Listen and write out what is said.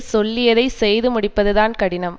சொல்லியதைச் செய்து முடிப்பதுதான் கடினம்